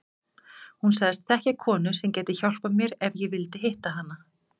Hún sagðist þekkja konu sem gæti hjálpað mér ef ég vildi hitta hana.